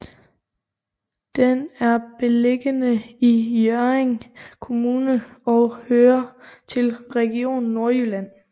Den er beliggende i Hjørring Kommune og hører til Region Nordjylland